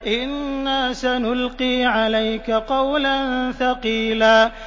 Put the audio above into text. إِنَّا سَنُلْقِي عَلَيْكَ قَوْلًا ثَقِيلًا